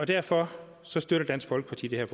derfor støtter dansk folkeparti det